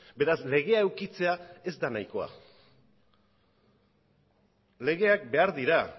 beraz legea edukitzea ez da nahikoa legeak behar dira